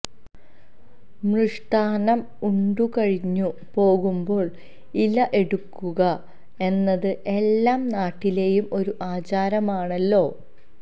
മൃഷ്ടാന്നം ഉണ്ടുകഴിഞ്ഞു പോകുമ്പോള് ഇല എടുക്കുക എന്നത് എല്ലാ നാട്ടിലെയും ഒരു ആചാരമാണല്ലോ